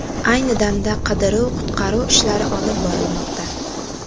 Ayni damda qidiruv-qutqaruv ishlari olib borilmoqda.